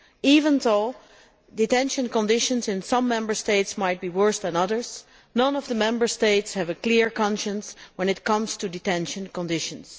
Even though detention conditions in some Member States might be worse than others, none of the Member States have a clear conscience when it comes to detention conditions.